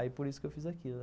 Aí, por isso que eu fiz aquilo.